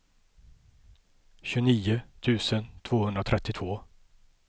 tjugonio tusen tvåhundratrettiotvå